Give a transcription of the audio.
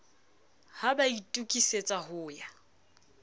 ha ba itokisetsa ho ya